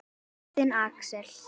Þinn, Axel.